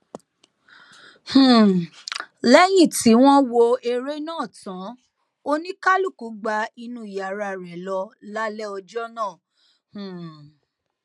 um lẹyìn tí wọn wọ ère náà tán oníkálùkù gba inú yàrá rẹ lọ lálẹ ọjọ náà um